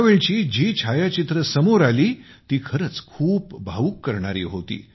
त्यावेळची जी छायाचित्रे समोर आली ती खरच खूप भावूक करणारी होती